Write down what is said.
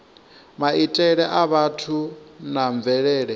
maitele a vhathu na mvelele